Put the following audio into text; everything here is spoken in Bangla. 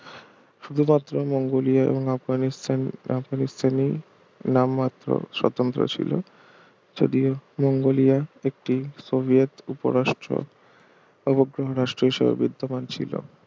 শুধুমাত্র মঙ্গোলীয় এবং আফগানিস্থান আফগানিস্থানি নাম মাত্র স্বতন্ত্র ছিল যদিও মঙ্গোলিয়া একটি সোভিয়েত উপরাষ্ট্র অভগ্রহ রাষ্ট্র হিসেবে বিত্তমান ছিল